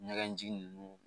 Ɲɛgɛnji ninnu